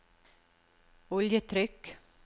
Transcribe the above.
oljetrykk